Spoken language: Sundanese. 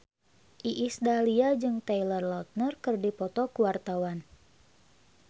Iis Dahlia jeung Taylor Lautner keur dipoto ku wartawan